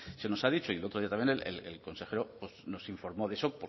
se nos ha dicho y el otro día también el consejero pues nos informó de eso